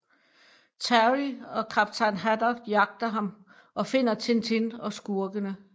Terry og kaptajn Haddock jagter ham og finder Tintin og skurkene